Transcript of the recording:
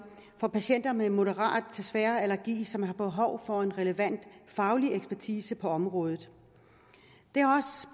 for patienter med moderat til svær allergi som har behov for en relevant faglig ekspertise på området